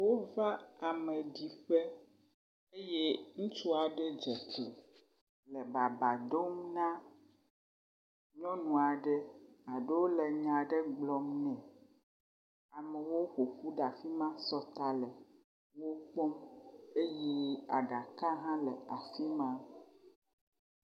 Wova ame di ƒe eye ŋutsua ɖe dze tsi le baba dom na nyɔnu aɖe alo le nya aɖe gblɔm nɛ, amewo ƒoƒu ɖe afi ma sɔta le wokpɔm eye aɖaka hã le afi ma.